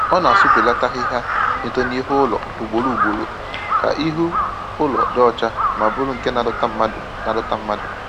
Ọ na-asụbilaata ahịhịa na-eto n'ihu ụlọ ugboro ugboro ka ihu ụlọ dị ọcha ma bụrụ nke na-adọta mmadụ na-adọta mmadụ